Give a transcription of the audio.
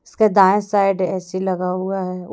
इसका दायां side AC लगा हुआ है ऊ--